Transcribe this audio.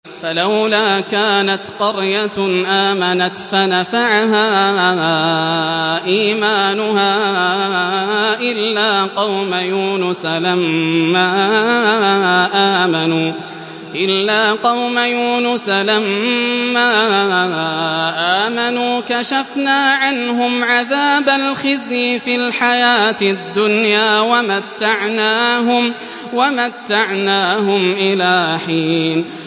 فَلَوْلَا كَانَتْ قَرْيَةٌ آمَنَتْ فَنَفَعَهَا إِيمَانُهَا إِلَّا قَوْمَ يُونُسَ لَمَّا آمَنُوا كَشَفْنَا عَنْهُمْ عَذَابَ الْخِزْيِ فِي الْحَيَاةِ الدُّنْيَا وَمَتَّعْنَاهُمْ إِلَىٰ حِينٍ